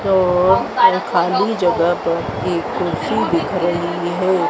जो यहां खाली जगह पे भी कुर्सी दिख रही है।